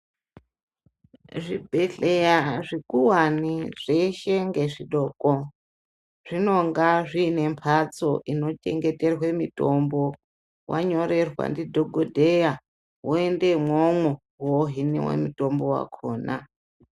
Zvibhedhleya zvikuwane zveshe ngezvidoko zvinonga zvine mbatso inochengete mitombo, wanyorwa ndidhokodheya woende imwomwo woohiniwa mutombo wakona.